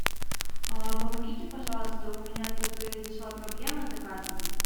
помогите пожалуйста у меня тут произошла проблема с заказом